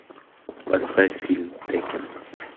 поставь фильм теккен